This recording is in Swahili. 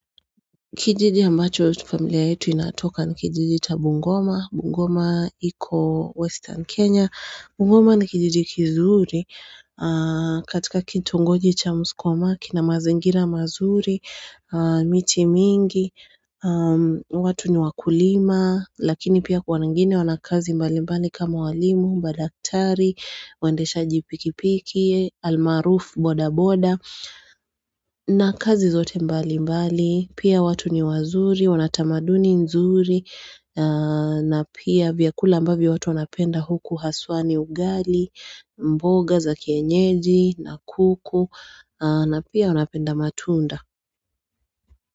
Kijiji ambacho familia yetu inatoka ni kijiji cha Bungoma. Bungoma iko western Kenya. Bungoma ni kijiji kizuri katika kitongoji cha Musikoma, kina mazingira mazuri, miti mingi, watu ni wakulima, lakini pia wengine wana kazi mbalimbali kama walimu, madaktari, waendeshaji pikipiki, almaarufu boda boda, na kazi zote mbalimbali. Pia watu ni wazuri, wana tamaduni nzuri na pia vyakula ambavyo watu wanapenda huku hasa ni ugali, mboga za kienyeji na kuku na pia wanapenda matunda.